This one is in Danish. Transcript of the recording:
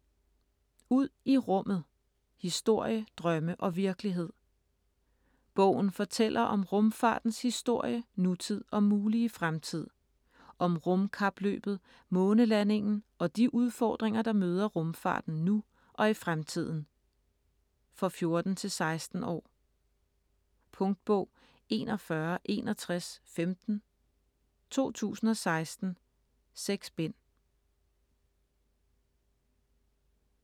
Ud i rummet: historie, drømme og virkelighed Bogen fortæller om rumfartens historie, nutid og mulige fremtid. Om rumkapløbet, månelandingen, og de udfordringer, der møder rumfarten nu og i fremtiden. For 14-16 år. Punktbog 416115 2016. 6 bind.